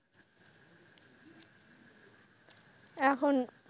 এখন,